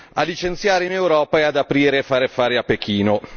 a licenziare in Europa e ad aprire e fare affari a Pechino.